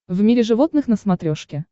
в мире животных на смотрешке